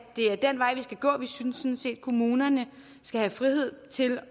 synes sådan set at kommunerne skal have frihed til at